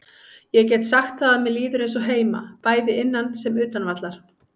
Ég get sagt það að mér líður eins og heima, bæði innan sem utan vallar.